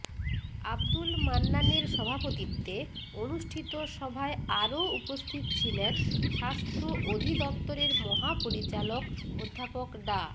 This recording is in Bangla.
আবদুল মান্নানের সভাপতিত্বে অনুষ্ঠিত সভায় আরো উপস্থিত ছিলেন স্বাস্থ্য অধিদপ্তরের মহাপরিচালক অধ্যাপক ডা